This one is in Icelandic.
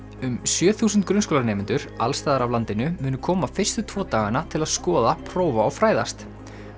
um sjö þúsund grunnskólanemendur alls staðar af landinu munu koma fyrstu tvo dagana til að skoða prófa og fræðast